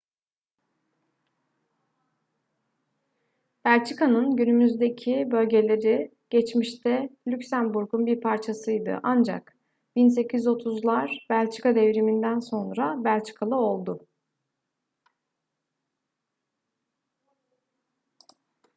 belçika'nın günümüzdeki bölgeleri geçmişte lüksemburg'un bir parçasıydı ancak 1830'lar belçika devrimi'nden sonra belçikalı oldu